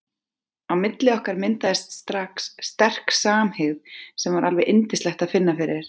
Á milli okkar myndaðist strax sterk samhygð sem var alveg yndislegt að finna fyrir.